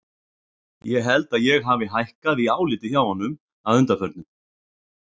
Ég held að ég hafi hækkað í áliti hjá honum að undanförnu.